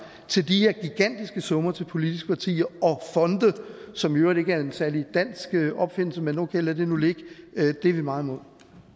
til de her gigantiske summer til politiske partier og fonde som i øvrigt ikke er en særlig dansk opfindelse men okay lad det nu ligge er vi meget imod